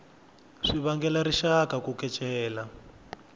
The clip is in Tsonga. swi vangela rixaka ku kecela